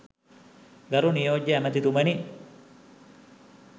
ගරු නියෝජ්‍ය ඇමතිතුමනි